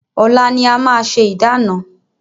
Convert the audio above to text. Ọ̀la ni a máa ṣe ìdána.